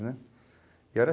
Né? E era